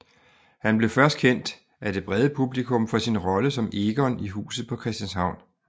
Han blev først kendt af det brede publikum for sin rolle som Egon i Huset på Christianshavn